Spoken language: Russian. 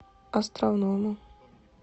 островному